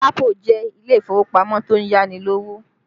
Lapo jẹ́ ilé ìfowópamọ́ tó ń yá ni lówó